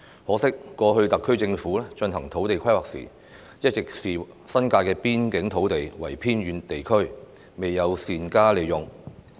可惜，過去特區政府進行土地規劃時，一直視新界的邊境土地為偏遠地區，未有善用。